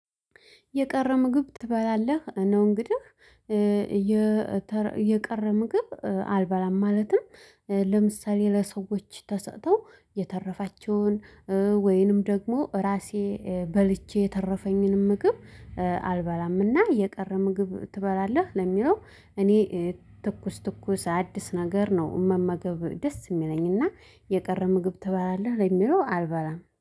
የቀረ ምግብ ትበላለህ? ነው እንግዲህ የቀረ ምግብ አልበላም። ማለትም ለምሳሌ ለሰዎች ተሰጥተው የተረፋቸውን ወይንም ደግሞ ራሴ በልቼ የተረፈኝን ምግብ አልበላም። እና የቀረ ምግብ ትበላለህ ለሚለው እኔ ትኩስ ትኩስ አዲስ ነገር ነው መመገብ ደስ የሚለኝ እና የቀረ ምግብ ትባላለህ ለሚለው አልበላም።